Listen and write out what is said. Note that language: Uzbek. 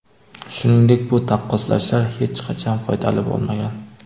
Shuningdek, bu taqqoslashlar hech qachon foydali bo‘lmagan.